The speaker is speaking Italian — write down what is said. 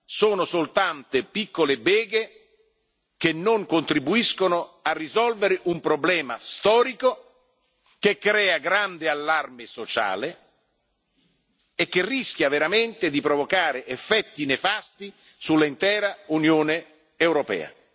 Sono soltanto piccole beghe che non contribuiscono a risolvere un problema storico, che crea grande allarme sociale e che rischia veramente di provocare effetti nefasti sull'intera Unione europea.